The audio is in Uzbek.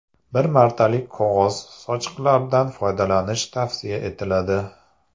Bir martalik qog‘oz sochiqlardan foydalanish tavsiya etiladi.